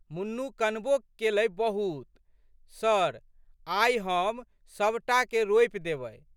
मुन्नू कनबो केलै बहुत। सर आइ हम सब टा के रोपि देबै।